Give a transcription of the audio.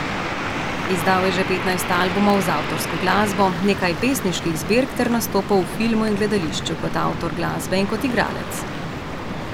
Izdal je že petnajst albumov z avtorsko glasbo, nekaj pesniških zbirk ter nastopal v filmu in gledališču kot avtor glasbe in kot igralec.